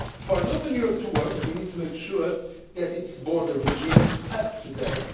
big challenge. For an open Europe to work, we need to make sure that its border regime